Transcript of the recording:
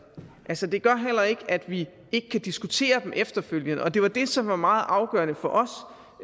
altså det gør heller ikke at vi ikke kan diskutere det efterfølgende og det var det som var meget afgørende for os